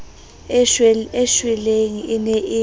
e shweleng e ne e